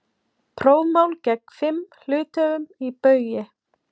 Prófmál gegn fimm hluthöfum í Baugi